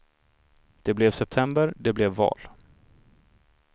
Det blev september, det blev val.